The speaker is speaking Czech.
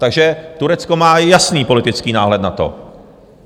Takže Turecko má jasný politický náhled na to.